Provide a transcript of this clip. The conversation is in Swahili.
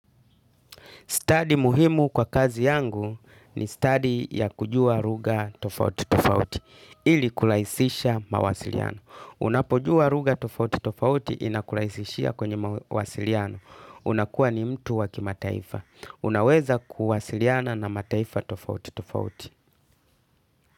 Stadi muhimu kwa kazi yangu ni stadi ya kujua ruga tofauti tofauti, ili kulaisisha mawasiliano. Unapojua ruga tofauti tofauti inakulaisishia kwenye mawasiliano. Unakuwa ni mtu wa k mataifa. Unaweza kuwasiliana na mataifa tofauti tofauti.